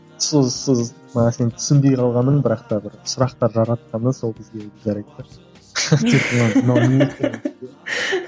сол сіз мына нәрсенің түсінбей қалғаның бірақ та бір сұрақтар жаратқаны сол кездегі